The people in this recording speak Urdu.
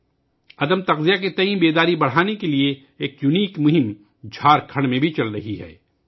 جھارکھنڈ میں تغذیہ کی قلت کے بارے میں بیداری بڑھانے کے لئے ایک انوکھی مہم بھی چل رہی ہے